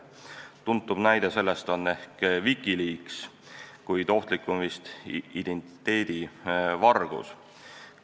Tuntuim näide on ehk WikiLeaks, kuid kõige ohtlikum vist on identiteedivargus.